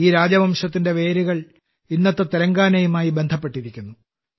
ഈ രാജവംശത്തിന്റെ വേരുകൾ ഇന്നത്തെ തെലങ്കാനയുമായി ബന്ധപ്പെട്ടിരിക്കുന്നു